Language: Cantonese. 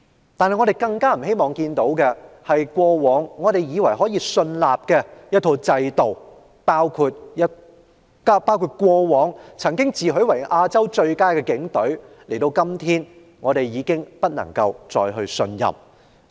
然而，我們更不希望看到的是，過往以為可以信任的制度，包括曾自詡為"亞洲最佳"的警隊，時至今日已經不能再信任。